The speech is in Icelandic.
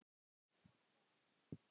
Þetta er bíllinn minn